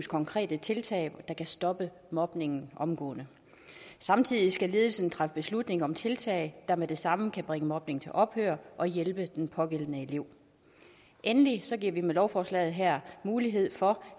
konkrete tiltag der kan stoppe mobningen omgående samtidig skal ledelsen træffe beslutning om tiltag der med det samme kan bringe mobning til ophør og hjælpe den pågældende elev endelig giver vi med lovforslaget her mulighed for